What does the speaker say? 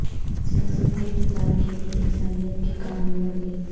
سیاست کے کردار کے لئے عیسائیت کی کہانی بڑھ گئی